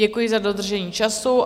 Děkuji za dodržení času.